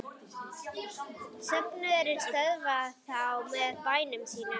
Söfnuðurinn stöðvað það með bænum sínum.